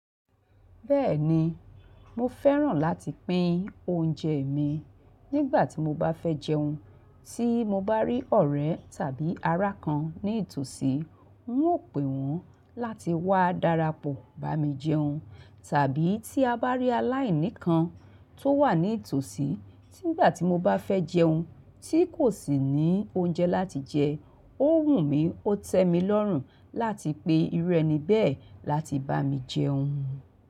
Bẹ́ẹ̀ni, mo fẹ́ràn láti pín oúnjẹ mi nígbà tí mo bá fẹ́ jẹun. Tí mo bá rí ọ̀rẹ́ tàbí ará kan ní ì tòsí, ń ó pè wọ́n láti wá darapọ̀ bá mi jẹun. Tàbí tí a bá rí aláìní kan tó wà ní ì tòsí nígbà tí mo bá fẹ́ jẹun tí kò sì ní oúnjẹ láti jẹ, ó wù mí ó tẹ mi lọ́rùn láti pe iru ẹni bẹ́ẹ̀ láti bá mi jẹun.